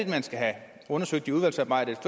man skal have undersøgt i udvalgsarbejdet